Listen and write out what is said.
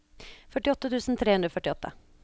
førtiåtte tusen tre hundre og førtiåtte